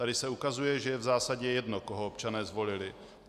Tady se ukazuje, že je v zásadě jedno, koho občané zvolili.